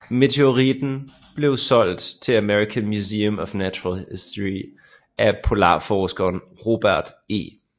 Meteoritten blev solgt til American Museum of Natural History af polarforskeren Robert E